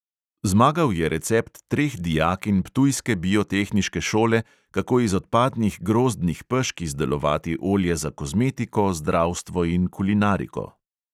Zmagal je recept treh dijakinj ptujske biotehniške šole, kako iz odpadnih grozdnih pešk izdelovati olje za kozmetiko, zdravstvo in kulinariko.